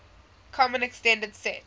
common extended sets